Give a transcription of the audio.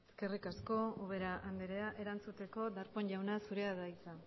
eskerrik asko ubera andrea erantzuteko darpón jauna zurea da hitza